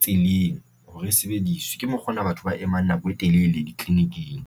tseleng hore e sebediswe ke mokgona, batho ba emang nako e telele ditleliniking.